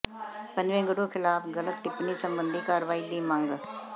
ਪੰਜਵੇਂ ਗੁਰੂ ਖ਼ਿਲਾਫ਼ ਗਲਤ ਟਿੱਪਣੀ ਸਬੰਧੀ ਕਾਰਵਾਈ ਦੀ ਮੰਗ